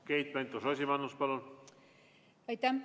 Keit Pentus-Rosimannus, palun!